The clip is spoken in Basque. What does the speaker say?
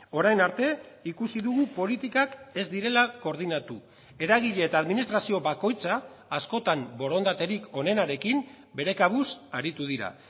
orain arte ikusi dugu politikak ez direla koordinatu eragile eta administrazio bakoitza askotan borondaterik onenarekin bere kabuz aritu dira